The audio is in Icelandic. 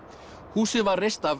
húsið var reist af